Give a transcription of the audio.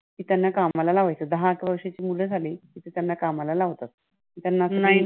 की त्यांना कामाला लावायचं. दहा-अकरा वर्षाची मुलं झाली की त्यांना कामाला लावतात. त्यांना